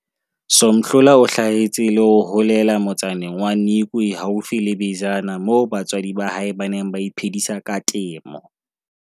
Somhlola o hlahetse le ho holela motsaneng wa Nikwe haufi le Bizana moo batswadi ba hae ba neng ba iphedisa ka temo.